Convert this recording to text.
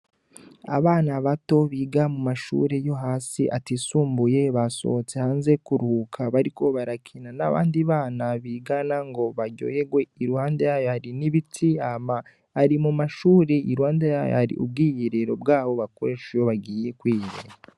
Abana bato biga mu mashuri yo hasi atisumbuye basohotse hanze kuruhuka bariko barakina n'abandi bana bigana ngo baryoherwe iruhande yayo hari n'ibiti hama ari mu mashuri, iruhande yayo hari ubwiyiriro bwaho bakoresha iyo bagiye kwiga.